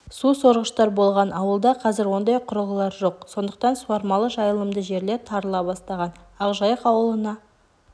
сусорғыштар болған ауылда қазір ондай құрылғылар жоқ сондықтан суармалы жайылымды жерлер тарыла бастаған ақжайық аулына